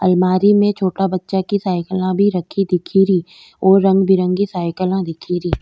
अलमारी मे छोटा बच्चा की साइकिला भी रखी दिख रीऔर रंग बिरंगी साइकिला दिख री।